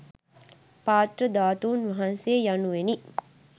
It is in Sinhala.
පාත්‍ර ධාතුන් වහන්සේ යනුවෙනි.